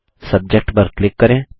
subject पर click करें